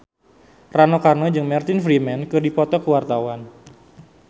Rano Karno jeung Martin Freeman keur dipoto ku wartawan